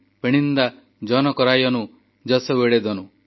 ପେଣଣିନ୍ଦା ଜନକରାୟନୁ ଜସୱଡ଼େଦନୁ